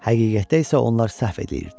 Həqiqətdə isə onlar səhv edirdilər.